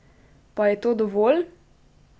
Pa je to dovolj?